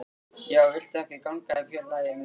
Já, viltu ekki ganga í félagið með okkur?